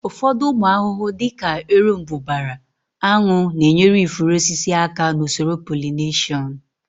Ụfọdụ ụmụ ahụhụ dị ka erombụbara, aṅụ na-enyere ifuru osisi aka n'usoro polineshọn